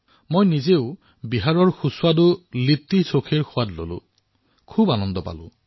মই নিজেই ইয়াত বিহাৰৰ সুস্বাদু লিট্টিচোখাৰ সোৱাদ উপভোগ কৰিছো